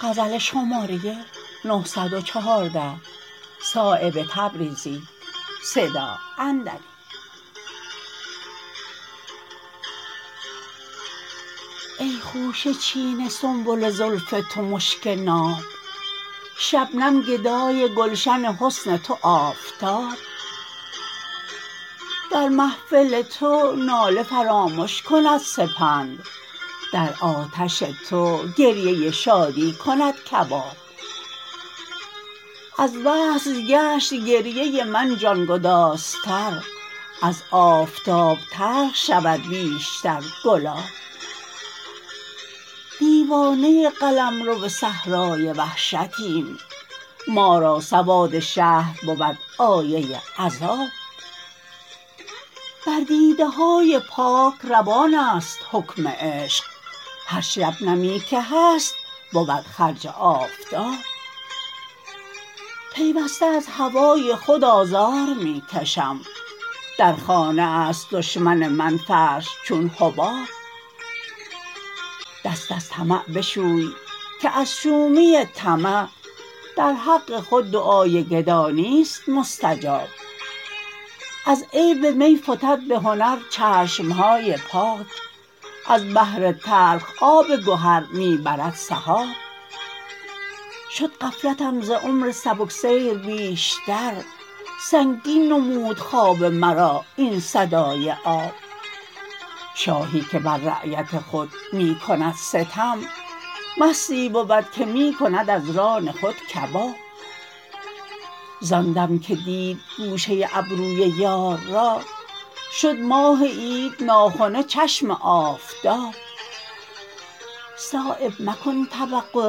ای خوشه چین سنبل زلف تو مشک ناب شبنم گدای گلشن حسن تو آفتاب در محفل تو ناله فرامش کند سپند در آتش تو گریه شادی کند کباب از وصل گشت گریه من جانگدازتر از آفتاب تلخ شود بیشتر گلاب دیوانه قلمرو صحرای وحشتیم ما را سواد شهر بود آیه عذاب بر دیده های پاک روان است حکم عشق هر شبنمی که هست بود خرج آفتاب پیوسته از هوای خود آزار می کشم در خانه است دشمن من فرش چون حباب دست از طمع بشوی که از شومی طمع در حق خود دعای گدا نیست مستجاب از عیب می فتد به هنر چشم ها پاک از بحر تلخ آب گهر می برد سحاب شد غفلتم ز عمر سبکسیر بیشتر سنگین نمود خواب مرا این صدای آب شاهی که بر رعیت خود می کند ستم مستی بود که می کند از ران خود کباب زان دم که دید گوشه ابروی یار را شد ماه عید ناخنه چشم آفتاب صایب مکن توقع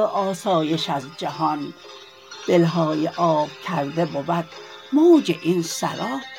آسایش از جهان دلهای آب کرده بود موج این سراب